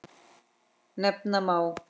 Nefna má